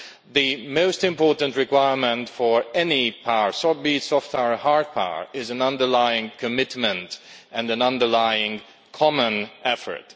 The most important requirements for any power be it soft or hard power are an underlying commitment and an underlying common effort.